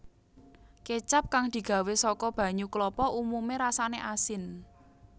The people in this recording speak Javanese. Kécap kang digawé saka banyu klapa umumé rasané asin